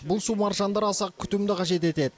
бұл су маржандары аса күтімді қажет етеді